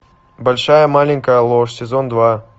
большая маленькая ложь сезон два